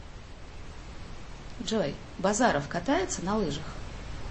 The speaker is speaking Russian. джой базаров катается на лыжах